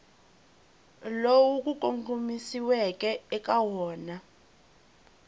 lowu ku kongomisiweke eka wona